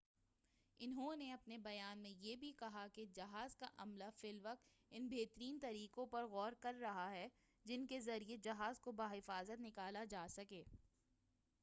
انہوں نے اپنے بیان میں یہ بھی کہا کہ جہاز کا عملہ فی الوقت ان بہترین طریقوں پر غور کر رہا ہے جن کے ذریعہ جہاز کو بحفاظت نکالا جا سکے